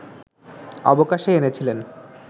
অবকাশে এনেছিলেন